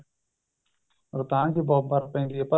ਰੋਹਤਾਂਗ ਵੀ ਬਹੁਤ ਬਰਫ਼ ਪੈਂਦੀ ਹੈ ਪਰ